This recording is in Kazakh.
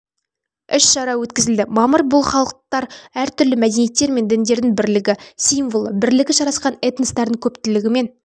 іс-шара өткізілді мамыр бұл халықтар әртүрлі мәдениеттер мен діндердің бірлігі символы бірлігі жарасқан этностардың көптілігімен